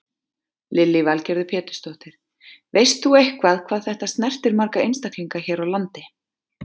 Lillý Valgerður Pétursdóttir: Veist þú eitthvað hvað þetta snertir marga einstaklinga hér á landi?